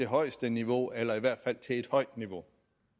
højeste niveau eller i hvert fald til et højt niveau